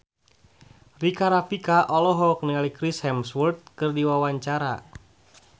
Rika Rafika olohok ningali Chris Hemsworth keur diwawancara